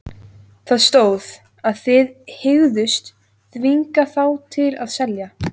Það stóð, að þið hygðust þvinga þá til að selja